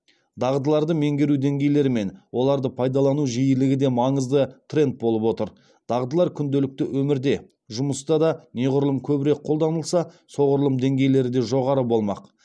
дағдыларды меңгеру деңгейлері мен оларды пайдалану жиілігі де маңызды тренд болып отыр дағдылар күнделікті өмірде жұмыста да неғұрлым көбірек қолданылса соғұрлым деңгейлері де жоғары болмақ